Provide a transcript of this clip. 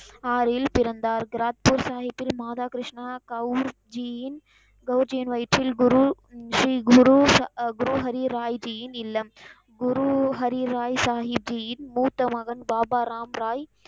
ஆறில் பிறந்தார். கிராத்தூர் சாஹீபில் மாதா கிருஷ்ணா கவுன் ஜியின் கவுஜியின் வயிற்றில் குரு, ஸ்ரீ குரு ஆஹ் ஹுரு ஹரி ராய்ஜியின் இல்லம். குரு ஹரி ராய் சாஹீபியின் மூத்த மகன் பாபா ராம் ராய்.